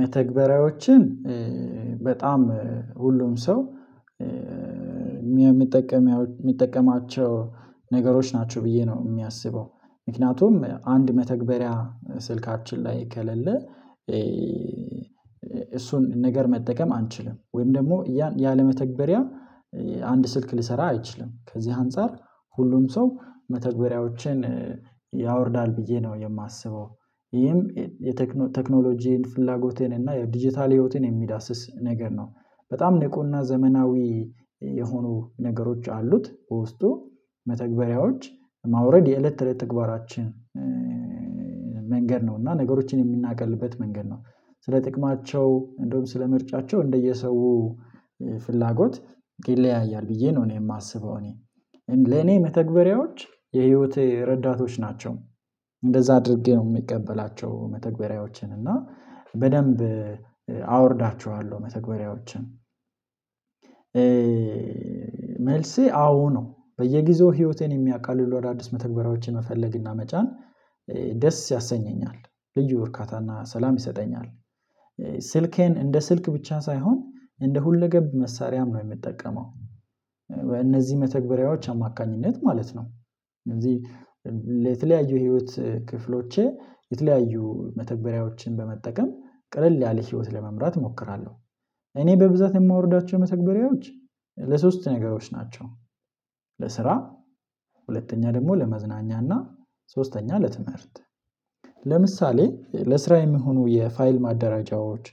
መተግበሪያዎችን በጣም ሁሉም ሰው የሚጠቀም የሚጠቀማቸው ነገሮች ናቸው ብዬ ነው የሚያስበው። ምክንያቱም አንድ መተግበሪያ ስልካችን ላይ ከለለ፤ እሱን ነገር መጠቀም አንችልም። ወይም ደግሞ ያለመተግበሪያ አንድ ስልክ ልሰራ አይችልም፤ ከዚህ አንፃር ሁሉም ሰው መተግበሪያዎችን ያወርዳል ብዬ ነው የማስበው ይህም የቴክኖሎጂን ፍላጎቴን እና የዲጂታል ህይወቴን የሚዳስስ ነገር ነው። በጣም ንቁና ዘመናዊ የሆኑ ነገሮች አሉት፤ በውስጡ መተግበሪያዎች ማውረድ የእለት ተእለት ተግባራችን መንገድ ነው እና ነገሮችን የምናቀልበት መንገድ ነው ስለ ጥቅማቸው፤ እንደውም ስለ ምርጫቸው፤ እንደየሰው ፍላጎት ይለያያል ብዬ ነው እኔ የማስበው እኔ፤ ለኔ መተግበሪያዎች የህይወት ረዳቶች ናቸው፤ እንደዛ አድርጌ ነው የሚቀበላቸው መተግበሪያዎችን። እና በደንብ አወርዳችኋለሁ መተግበሪያዎችን። መልሴ አዎ ነው በየጊዜው ህይወቴን የሚያቀሉ አዳዲስ መተግበሪያዎችን መፈለግና መጫን፤ ደስ ያሰኘኛል ልጅ ወርካታና ሰላም ይሰጠኛል። ስልኬን እንደ ስልክ ብቻ ሳይሆን እንደ ሁለገብ መሳሪያም ነው የምጠቀመው። በእነዚህ መተግበሪያዎች አማካኝነት ማለት ነው እንደዚህ የተለያዩ ህይወት ክፍሎቼ የተለያዩ መተግበሪያዎችን በመጠቀም ቀለል ያለ ህይወት ለመምራት እሞክራለሁ። እኔ በብዛት የማወርዳቸው መተግበሪያዎች ለሶስት ነገሮች ናቸው፤ ለስራ፤ ሁለተኛ ደግሞ ለመዝናኛና፤ ሶስተኛ ለትምህርት። ለምሳሌ ለስራ የሚሆኑ የፋይል ማደራጃዎች፤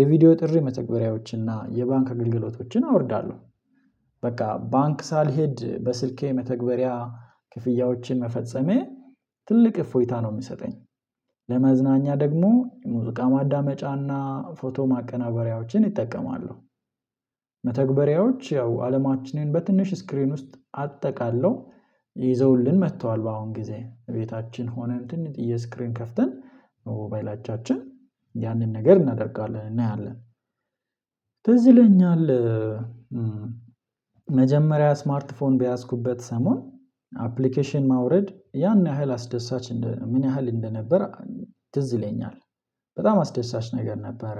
የቪዲዮ ጥሪ መተግበሪያዎችን፤ እና የባንክ አገልግሎቶችን አወርዳለሁ። በቃ ባንክ ሳልሄድ በስልኬ መተግበሪያ ክፍያዎችን መፈጸሜ ትልቅ እፎይታ ነው የምሰጠኝ። ለመዝናኛ ደግሞ የሙዚቃ ማዳመጫና ፎቶ ማቀናበሪያዎችን ይጠቀማለው። መተግበሪያዎች ያው አለማችንን በትንሽ ስክሪን ውስጥ አጠቃለው ይዘውልን መጥተዋል በአሁን ጊዜ፤ እቤታችን ሆነን ትንሽ የስክሪን ከፍተን በሞባይላቻችን ያንን ነገር እናደርጋለን እናያለን። ተዝለኛል መጀመሪያ ስማርት ፎን በያዝኩበት ሰሞን አፕሊኬሽን ማውረድ ያን ያህል አስደሳች ምን ያህል እንደነበር ትዝ ይለኛል። በጣም አስደሳች ነገር ነበረ፤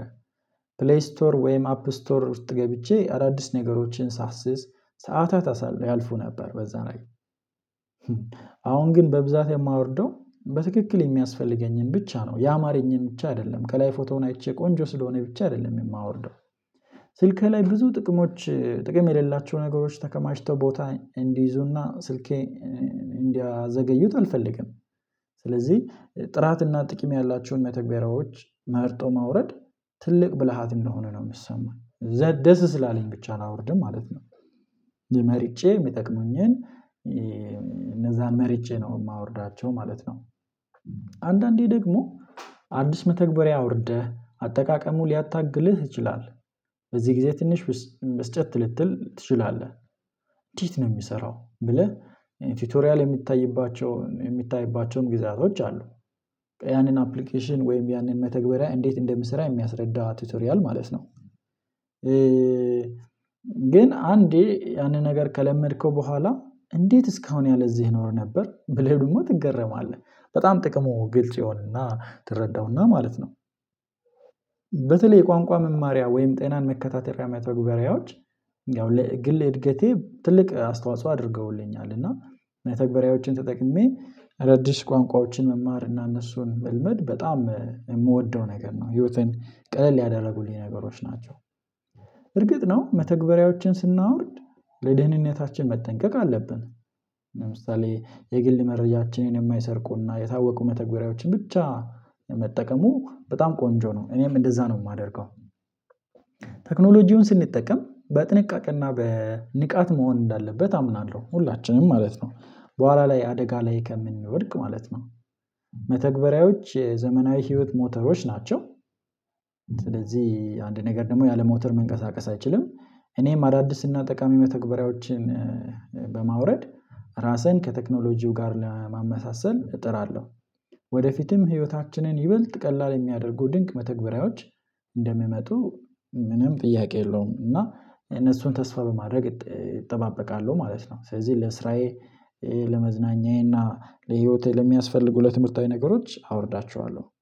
ፕሌይ ስቶር ወይም አፕ ስቶር ውስጥ ገብቼ አዳዲስ ነገሮችን ሳስስ፤ ሰዓታት ያልፉ ነበር በዛ ነገር። አሁን ግን በብዛት የማወርደው በትክክል የሚያስፈልገኝን ብቻ ነው፤ ያማረኝን ብቻ አይደለም ከላይ ፎቶውን አይቼ ቆንጆ ስለሆነ ብቻ አይደለም የማወርደው። ስልኬ ላይ ብዙ ጥቅሞች ጥቅም የሌላቸው ነገሮች ተከማችተው ቦታ እንዲይዙና ስልኬ እንዲያዘገዩት አልፈልግም። ስለዚህ ጥራትና ጥቂም ያላችሁን መተግበሪያዎች መርጦ ማውረድ ትልቅ ብልሃት እንደሆነ ነው የምሰማኝ። ደስ ስላለኝ ብቻ አላወርድም ማለት ነው፤ የመርጬ የሚጠቅሙኝን እነዛን መርጬ ነው የማወርዳቸው ማለት ነው። አንዳንዴ ደግሞ አዲስ መተግበሪያ አውርደህ አጠቃቀሙ ሊያታግልህ ይችላል። በዚህ ጊዜ ትንሽ ብስጨት ልትል ትችላለ። ህ እንደት ነው የሚሰራው ብለህ፤ ቲቶሪያል የሚታይባቸውን የሚታይባቸውም ግዛቶች አሉ ያንን አፕሊኬሽን ወይም ያንን መተግበሪያ እንዴት እንደምሰራ የሚያስረዳ ቲቶሪያል ማለት ነው። ግን አንዴ ያንን ነገር ከለመድከው በኋላ እንዴት እስካሁን ያለዚህ ኖር ነበር ብለህ ደግሞ ትገረማለህ። በጣም ጥቅሙ ግልጽ የሆነና ትረዳውና ማለት ነው። በተለይ ቋንቋ መማሪያ ወይም ጤናን መከታተልያ መተግበሪያዎች ያው ለግል እድገቴ ትልቅ አስተዋጽኦ አድርገውልኛል። እና ተግባራዎችን ተጠቅሜ አዳዲስ ቋንቋዎችን መማር እና እነሱን መልመድ በጣም የምወደው ነገር ነው፤ ህይወትን ቅለል ያደረጉልኝ ነገሮች ናቸው። እርግጥ ነው መተግበሪያዎችን ስናወርድ ለደህንነታችን መጠንቀቅ አለብን። ለምሳሌ የግል መረጃችንን የማይሰርቁና የታወቁ መተግበሪያዎችን ብቻ መጠቀሙ በጣም ቆንጆ ነው እኔም እንደዛ ነው የማደርገው። ቴክኖሎጂውን ስንጠቀም፤ በጥንቃቄና በንቃት መሆን እንዳለበት አምናለሁ ሁላችንም ማለት ነው፤ በኋላ ላይ አደጋ ላይ ከምንወድቅ ማለት ነው። መተግበሪያዎች የዘመናዊ ህይወት ሞተሮች ናቸው። ስለዚህ አንድ ነገር ደግሞ ያለም ሞተር መንቀሳቀስ አይችልም። እኔም አዳዲስ እና ጠቃሚ መተግበሪያዎችን፤ በማውረድ ራሴን ከቴክኖሎጂው ጋር ለማመሳሰል እጥራለሁ። ወደፊትም ህይወታችንን ይበልጥ ቀላል የሚያደርጉ ድንቅ መተግበሪያዎች እንደምመጡ ምንም ጥያቄ የለውም። እና እነሱን ተስፋ በማድረግ እጠባበቃለሁ ማለት ነው። ስለዚህ ለስራዬ፤ ለመዝናኛዬ፤ እና ለህይወቴ ለሚያስፈልጉ ለትምህርታዊ ነገሮች አወርዳቸዋለሁ።